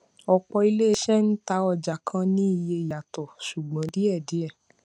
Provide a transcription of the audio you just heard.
ọpọ ilé iṣẹ ń tà ọjà kan ní iye yàtò ṣùgbọn díẹdíẹ